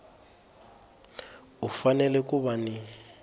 u fanele ku va ni